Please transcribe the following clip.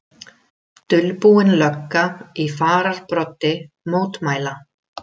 Dulbúin lögga í fararbroddi mótmæla